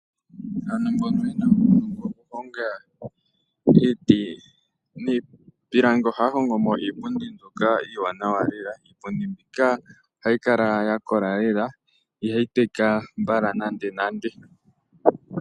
Aantu mboka ye na uunongo okuhonga iiti niipilangi ohaya hongo mo iipundi mbyoka iiwanawa lela . Iipundi mbika ohayi kala ya kola lela ihayi teka mbala nande nande.